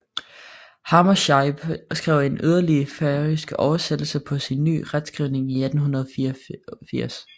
Hammershaimb skrev en yderligere færøsk oversættelse på sin ny retskrivning i 1884